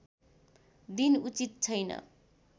दिन उचित छैन